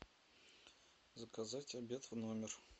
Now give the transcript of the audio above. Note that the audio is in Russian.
заказать обед в номер